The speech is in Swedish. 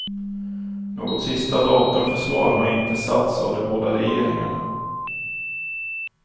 Något sista datum för svar har inte satts av de båda regeringarna.